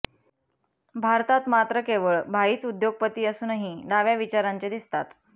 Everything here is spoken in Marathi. भारतात मात्र केवळ भाईच उद्योगपती असूनही डाव्या विचारांचे दिसतात